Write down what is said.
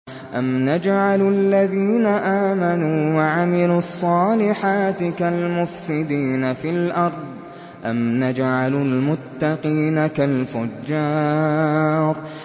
أَمْ نَجْعَلُ الَّذِينَ آمَنُوا وَعَمِلُوا الصَّالِحَاتِ كَالْمُفْسِدِينَ فِي الْأَرْضِ أَمْ نَجْعَلُ الْمُتَّقِينَ كَالْفُجَّارِ